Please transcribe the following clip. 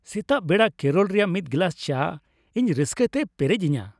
ᱥᱮᱛᱟᱜ ᱵᱮᱲᱟ ᱠᱮᱨᱚᱞ ᱨᱮᱭᱟᱜ ᱢᱤᱫ ᱜᱮᱞᱟᱥ ᱪᱟ ᱤᱧ ᱨᱟᱹᱥᱠᱟᱛᱮᱭ ᱯᱮᱨᱮᱡᱤᱧᱟ ᱾